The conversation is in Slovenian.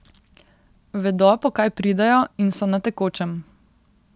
Vedo, po kaj pridejo, in so na tekočem.